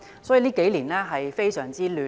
這數年可謂非常混亂。